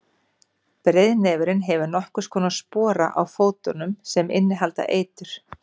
breiðnefurinn hefur nokkurs konar spora á fótunum sem innihalda eitur